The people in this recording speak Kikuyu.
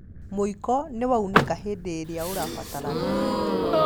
Mũiko nĩwaunĩka hĩndĩ ĩrĩa ũrabatarania